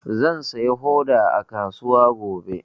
Zan sayo hoda a kasuwa gobe.